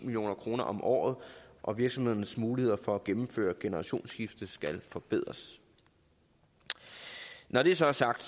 no kroner om året og virksomhedernes muligheder for at gennemføre generationsskifte skal forbedres når det så er sagt